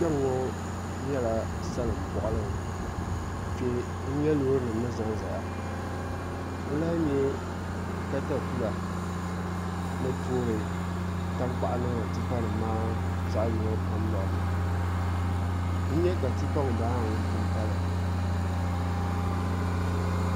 Kpɛŋ ŋo nyɛla salin boɣali ni n nyɛ Loori nim ni ʒɛnʒɛya n lahi nyɛ katapila ni toori tankpaɣu niŋdi tipa nim maa zaŋ yino kam lorini n nyɛ ka tipa ŋunbala maa ŋun pun pali